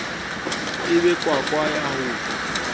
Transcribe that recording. e be kwakwa ya ho